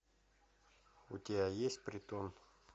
у тебя есть притон